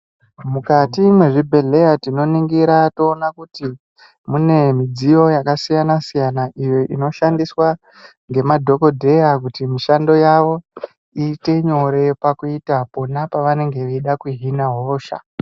Mukati mezvibhehleya tinoningira toona kuti mune midziyo yakasiyana siyana iyo inoshandiswa ngemadhokodheya kuti mishando yavo iite nyore pakuita pano pavanenge veida kuhina hosha.